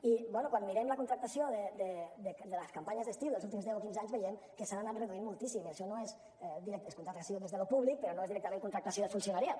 i bé quan mirem la contractació de les campanyes d’estiu dels últims deu o quinze anys veiem que s’han anat reduint moltíssim i això és contractació des de lo públic però no és directament contractació de funcionariat